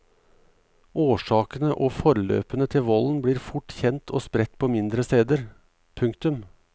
Årsakene og forløpene til volden blir fort kjent og spredt på mindre steder. punktum